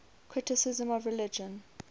criticism of religion